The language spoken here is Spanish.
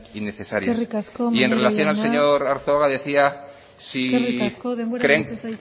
innecesarias eskerrik asko maneiro jauna y en relación al señor arzuaga decía si eskerrik asko denbora agortu zaizu